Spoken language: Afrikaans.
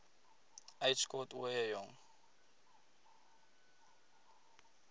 uitskot ooie jong